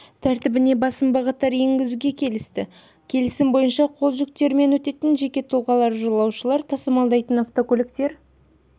тәртібіне басым бағыттар енгізуге келісті келісім бойынша қол жүктерімен өтетін жеке тұлғалар жолаушылар тасымалдайтын автокөліктер